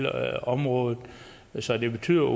området så det betyder